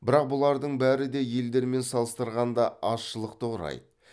бірақ бұлардың бәрі де елдермен салыстырғанда азшылықты құрайды